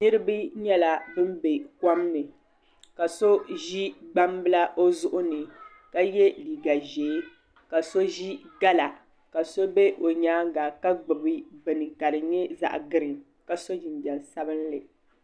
Niriba nyɛla bini bɛ kom ni ka so zi gbaŋ bila o zuɣu ni ka ye liiga zɛɛ ka so zi gala ka so bɛ o yɛanga ka gbubi bini ka di nyɛ zaɣi griin ka so jinjam sabinli.